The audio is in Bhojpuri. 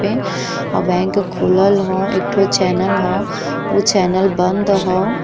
पे और बैंक खुलल हो और एक ठो चैनल हो उ चैनल बंद हो।